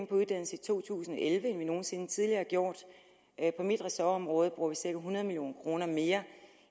på uddannelse i to tusind og elleve end vi nogen sinde tidligere har gjort på mit ressortområde bruger vi cirka hundrede million kroner mere